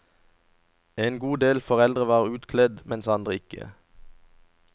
En god del foreldre var utkledt, andre ikke.